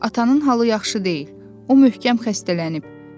Atanın halı yaxşı deyil, o möhkəm xəstələnib.